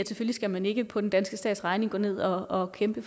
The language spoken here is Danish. skal man ikke på den danske stats regning gå ned og kæmpe